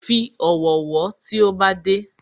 Fi ọ̀wọ̀ wọ́ tí ó bá dé